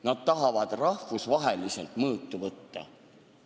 Nad tahavad rahvusvaheliselt mõõtu võtta.